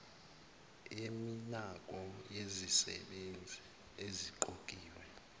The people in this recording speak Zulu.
yeminako yezisebenzi eziqokiwe